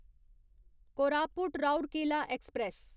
Koraput Rourkela express